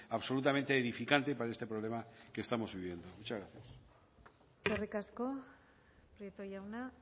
absolutamente edificante para este problema que estamos viviendo muchas gracias eskerrik asko prieto jauna